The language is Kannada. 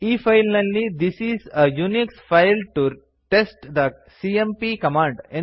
ಈ ಫೈಲ್ ನಲ್ಲಿ this is a Unix file to test the CMP command